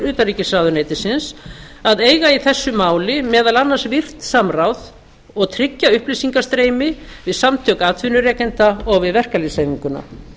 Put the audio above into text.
utanríkisráðuneytisins að eiga í þessu máli meðal annars virkt samráð og tryggja upplýsingastreymi við samtök atvinnurekenda og við verkalýðshreyfinguna